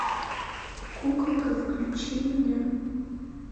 куколка включи мне